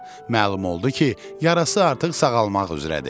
Məlum oldu ki, yarası artıq sağalmaq üzrədir.